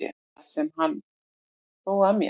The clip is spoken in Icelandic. Það sem hann hló að mér.